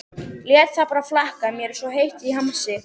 Lét það bara flakka, mér var svo heitt í hamsi.